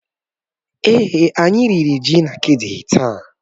Èé, anyị riri ji na akidi taa.